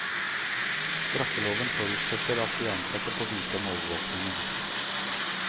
Straffeloven forutsetter at de ansatte får vite om overvåkingen.